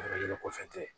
Yɔrɔ yɛrɛ kɔfɛ